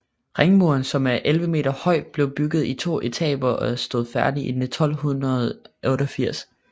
Ringmuren som er 11 meter høj blev bygget i to etaper og stod færdig i 1288